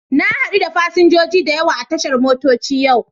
Na hadu da fasinjoji da yawa a tashar motoci yau.